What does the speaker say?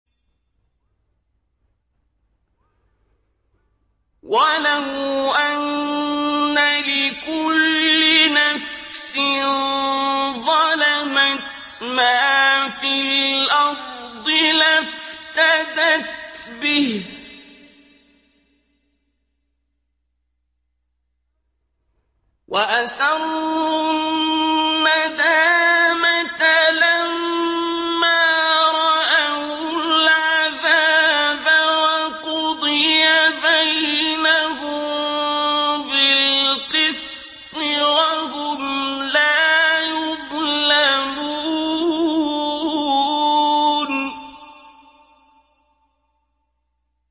وَلَوْ أَنَّ لِكُلِّ نَفْسٍ ظَلَمَتْ مَا فِي الْأَرْضِ لَافْتَدَتْ بِهِ ۗ وَأَسَرُّوا النَّدَامَةَ لَمَّا رَأَوُا الْعَذَابَ ۖ وَقُضِيَ بَيْنَهُم بِالْقِسْطِ ۚ وَهُمْ لَا يُظْلَمُونَ